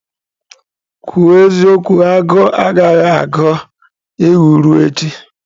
kwuru eziokwu, agụụ agaghị agụ ewu ruo echi.